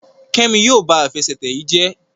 Kemi yíò bá Àfẹsẹ̀tẹ̀ yí jé